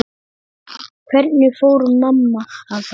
Hvernig fór mamma að þessu?